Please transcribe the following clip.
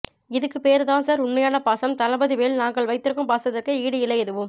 இதுக்கு பேரு தான் சார் உண்மையான பாசம் தளபதி மேல் நாங்கள் வைத்திருக்கும் பாசத்திற்கு ஈடு இல்லை எதுவும்